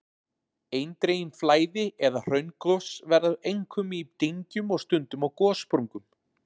Eindregin flæði- eða hraungos verða einkum í dyngjum og stundum á gossprungum.